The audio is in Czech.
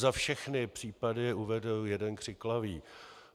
Za všechny případy uvedu jeden křiklavý.